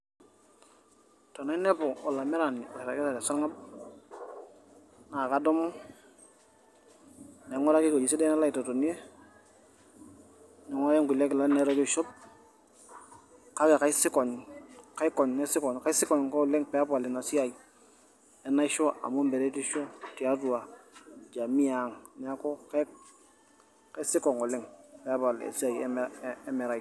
Tenainepu olamerani orragita tesarng'ab, naa kadumu naing'uraki ewuejitin sidan nalo aitotonie, naing'uraki engulie kilani naitoki aishop, kake kaisikong' kaikony naisikong' ake oleng' peepal Ina siai enaisho amu meretisho tiatua jamiiang' neeku kaisikong' peemal Ina siai emereai.